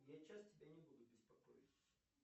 я часто тебя не буду беспокоить